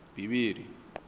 bivhili